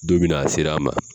Don min na a sera a ma